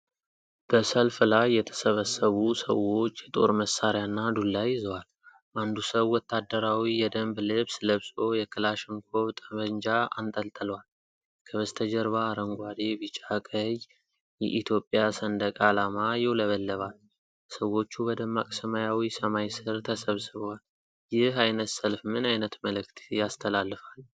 በሰልፍ ላይ የተሰበሰቡ ሰዎች የጦር መሣሪያና ዱላ ይዘዋል። አንዱ ሰው ወታደራዊ የደንብ ልብስ ለብሶ የክላሽንኮቭ ጠመንጃ አንጠልጥሏል። ከበስተጀርባ አረንጓዴ፣ ቢጫ፣ ቀይ የኢትዮጵያ ሰንደቅ አላማ ይውለበለባል። ሰዎቹ በደማቅ ሰማያዊ ሰማይ ሥር ተሰብስበዋል። ይህ ዓይነት ሰልፍ ምን ዓይነት መልዕክት ያስተላልፋል?